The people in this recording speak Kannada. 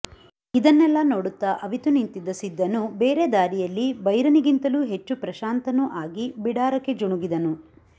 ಇದನ್ನೆಲ್ಲ ನೋಡುತ್ತ ಅವಿತು ನಿಂತಿದ್ದ ಸಿದ್ದನೂ ಬೇರೆ ದಾರಿಯಲ್ಲಿ ಬೈರನಿಗಿಂತಲೂ ಹೆಚ್ಚು ಪ್ರಶಾಂತನೂ ಆಗಿ ಬಿಡಾರಕ್ಕೆ ಜುಣುಗಿದನು